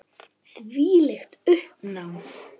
Þvílíkt uppnám.